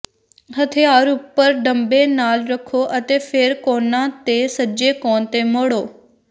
ਹਥਿਆਰ ਉਪਰ ਡੰਬੇ ਨਾਲ ਰੱਖੋ ਅਤੇ ਫੇਰ ਕੋਨਾਂ ਤੇ ਸੱਜੇ ਕੋਣ ਤੇ ਮੋੜੋ